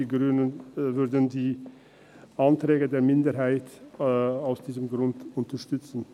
Die Grünen würden die Anträge der Minderheit aus diesem Grund unterstützen.